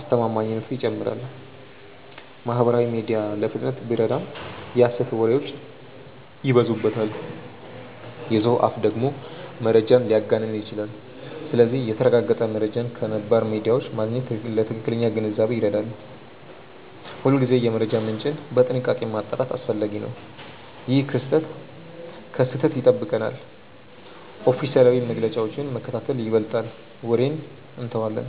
አስተማማኝነቱ ይጨምራል። ማህበራዊ ሚዲያ ለፍጥነት ቢረዳም የሐሰት ወሬዎች ይበዙበታል። የሰው አፍ ደግሞ መረጃን ሊያጋንን ይችላል። ስለዚህ የተረጋገጠ መረጃን ከነባር ሚዲያዎች ማግኘት ለትክክለኛ ግንዛቤ ይረዳል። ሁልጊዜ የመረጃ ምንጭን በጥንቃቄ ማጣራት አስፈላጊ ነው። ይህ ከስህተት ይጠብቀናል። ኦፊሴላዊ መግለጫዎችን መከታተል ይበልጣል ወሬን እንተዋለን።